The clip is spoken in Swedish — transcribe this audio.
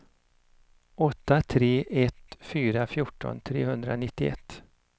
åtta tre ett fyra fjorton trehundranittioett